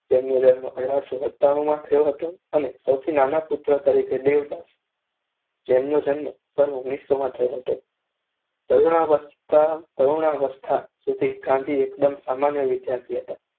તેમનો જન્મ અઢારસો સતાણુ માં થયો હતો. અને સૌથી નાના પુત્ર તરીકે દેવદાસ જેમનો જન્મ સન ઓગણીસોમાં થયો હતો. તરુણાવસ્થા સુધી ગાંધી એકદમ સામાન્ય વિદ્યાર્થી હતા.